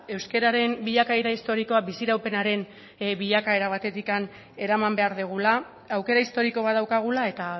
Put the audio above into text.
euskararen bilakaera historikoa biziraupenaren bilakaera batetik eraman behar dugula aukera historiko bat daukagula eta